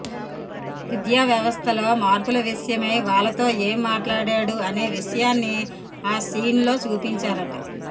విద్యావ్యవస్థలో మార్పుల విషయమై వాళ్ళతో ఏం మాట్లాడాడు అనే విషయాన్ని ఆ సీన్ లో చూపించారట